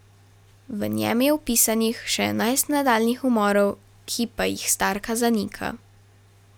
V njem je opisanih še enajst nadaljnjih umorov, ki pa jih starka zanika.